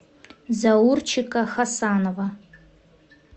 заурчика хасанова